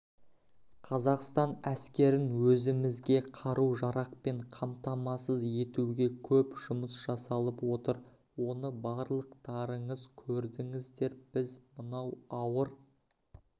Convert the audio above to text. қазақстан әскерін өзіміз қару-жарақпен қамтамасыз етуге көп жұмыс жасалып отыр оны барлықтарыңыз көрдіңіздер біз мынау ауыр